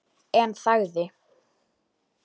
En þagði.